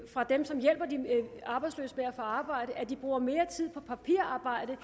fra dem som hjælper de arbejdsløse med at få arbejde at de bruger mere tid på papirarbejde